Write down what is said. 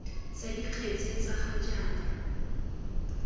tsa dikgetse tsa ga jaana